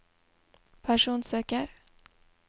personsøker